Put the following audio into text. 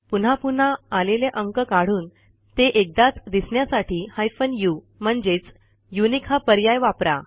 पुन्हा पुन्हा आलेले अंक काढून ते एकदाच दिसण्यासाठी हायफेन उ म्हणजेच युनिक हा पर्याय वापरा